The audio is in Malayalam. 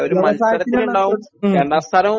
ഉം